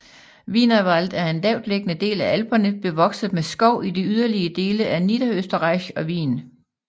Wienerwald er en lavtliggende del af Alperne bevokset med skov i de yderlige dele af Niederösterreich og Wien